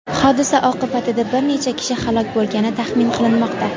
Hodisa oqibatida bir necha kishi halok bo‘lgani taxmin qilinmoqda.